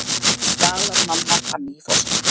galar mamma frammi í forstofu.